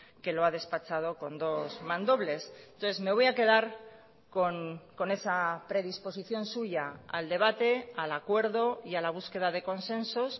que lo ha despachado con dos mandobles entonces me voy a quedar con esa predisposición suya al debate al acuerdo y a la búsqueda de consensos